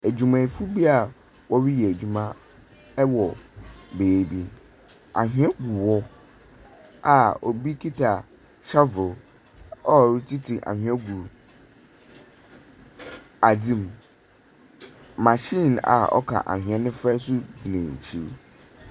Edwumayɛfo bi a wɔreyɛ edwuma wɔ beebi. Anhwea wɔ hɔ a obi kita shovel a ɔretiti anhwa gu adze mu. Machine a ɔka anhwea no fra nso gyiningyina .